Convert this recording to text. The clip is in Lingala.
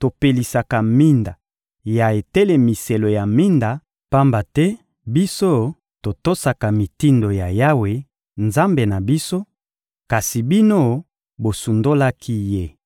topelisaka minda ya etelemiselo ya minda, pamba te biso totosaka mitindo ya Yawe, Nzambe na biso; kasi bino, bosundolaki Ye.